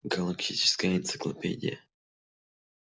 галактическая энциклопедия